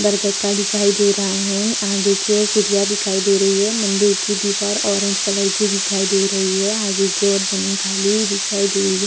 बरगद का दिखाई दे रहा है आगे की ओर चिड़िया दिखाई दे रही है मंदिर की दीवार ऑरेंज कलर की दिखाई दे रही है आगे की और जमीन खाली हुई दिखाई दे रही है।